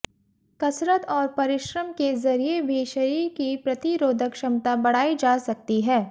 कसरत और परिश्रम के जरिए भी शरीर की प्रतिरोधक क्षमता बढ़ाई जा सकती है